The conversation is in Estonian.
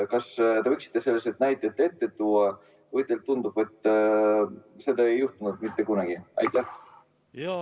Kas te võiksite selle kohta näiteid tuua või teile tundub, et seda ei ole mitte kunagi juhtunud?